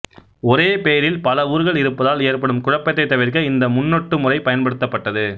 ஒரே பெயரில் பல ஊர்கள் இருப்பதால் ஏற்படும் குழப்பத்தைத் தவிர்க்க இந்த முன்னொட்டு முறை பயன்படுத்தப்பட்டது